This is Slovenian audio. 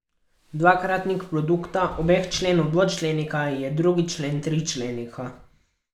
Dvakratnik produkta obeh členov dvočlenika je drugi člen tričlenika.